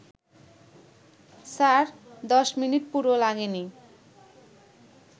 sir, ১০ minute পুরো লাগেনি